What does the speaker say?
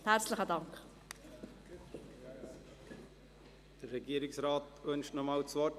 Der Regierungsrat wünscht noch einmal das Wort.